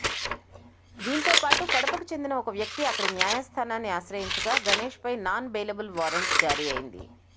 దీంతో పాటు కడపకు చెందిన ఓ వ్యక్తి అక్కడి న్యాయస్థానాన్ని ఆశ్రయించగా గణేష్పై నాన్ బెయిలబుల్ వారెంట్ జారీ అయింది